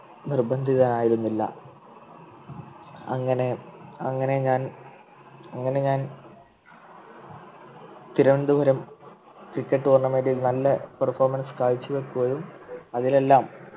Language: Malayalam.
നിർബന്ധിതനായിരുന്നില്ല അങ്ങനെ അങ്ങനെ ഞാൻ അങ്ങനെ ഞാൻ തിരുവനന്തപുരം Cricket tournament ൽ നല്ല Perfomance കാഴ്ചവയ്ക്കുകയും അതിലെല്ലാം